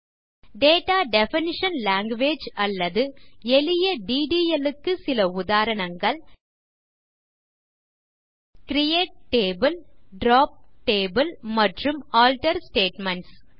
data definition language அல்லது எளிய DDLக்கு சில உதாரணங்கள் கிரியேட் டேபிள் டிராப் டேபிள் மற்றும் ஆல்டர் ஸ்டேட்மென்ட்ஸ்